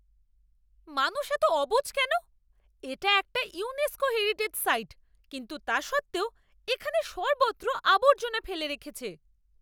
মানুষ এত অবুঝ কেন? এটা একটা ইউনেস্কো হেরিটেজ সাইট কিন্তু তা সত্ত্বেও এখানে সর্বত্র আবর্জনা ফেলে রেখেছে।